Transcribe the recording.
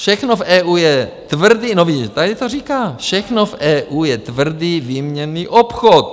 Všechno v EU je tvrdý - no vidíte, tady to říká - všechno v EU je tvrdý výměnný obchod.